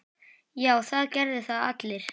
Já, það gerðu það allir.